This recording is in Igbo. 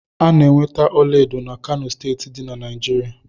A na-enweta ọlaedo na Kano steeti dị na Naijiria